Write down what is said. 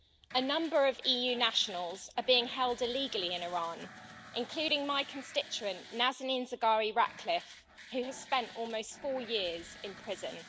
A number of EU nationals are being held illegally in Iran, including my constituent, Nazanin Zaghari Ratcliffe, who has spent almost four years in prison.